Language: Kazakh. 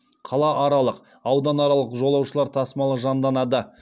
қалааралық ауданаралық жолаушылар тасымалы жанданады